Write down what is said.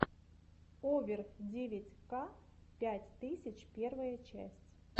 овер девять ка пять тысяч первая часть